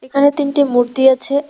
এখানে তিনটি মূর্তি আছে।